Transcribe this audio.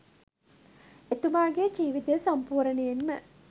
එතුමාගේ ජීවිතය සම්පූර්ණයෙන්ම